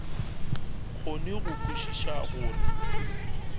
kgone go kwešiša go re